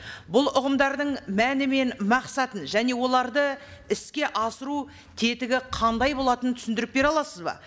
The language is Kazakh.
бұл ұғымдардың мәні мен мақсатын және оларды іске асыру тетігі қандай болатынын түсіндіріп бере аласыз ба